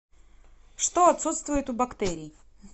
что отсутствует у бактерий